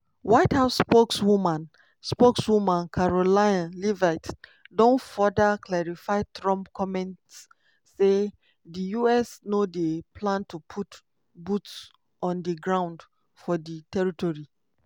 white house spokeswoman spokeswoman karoline leavitt don further clarify trump comments say di us no dey plan to put "boots on di ground" for di territory.